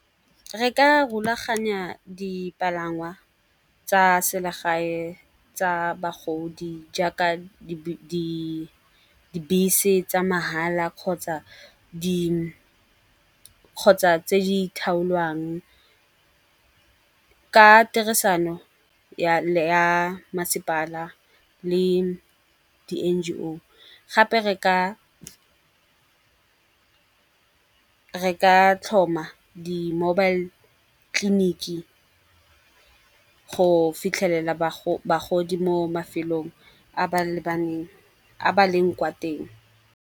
Re ka rulaganya dipalangwa tsa selegae tsa bagodi jaaka dibese tsa mahala kgotsa tse ditlhaolwang ka tirisano ya masepala le di N_G_O. Gape re ka tlhoma the mobile tleliniki go fitlhelela bagodi mo mafelong a ba leng kwa teng.